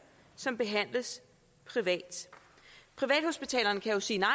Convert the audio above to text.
som behandles privat privathospitalerne kan sige nej